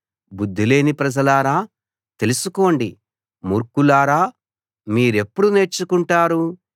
బుద్ధిలేని ప్రజలారా తెలుసుకోండి మూర్ఖులారా మీరెప్పుడు నేర్చుకుంటారు